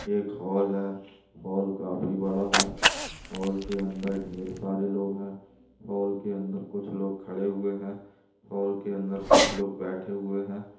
एक हॉल हे हॉल काफी बड़ा हे हॉल के अन्दर ढेर सारे लोग हे हॉल के अन्दर कुछ लोग खड़े हुए हे हॉल के अन्दर कुछ लोग बेठे हुए है|